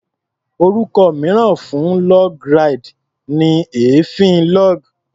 Orúkọ mìíràn fún log ride ni èéfín log.